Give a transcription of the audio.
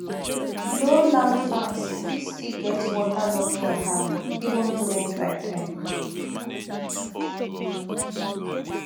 low land farms fit still get waterlogging wahala even during dry time